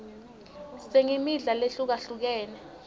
singmidla lehlukahlukene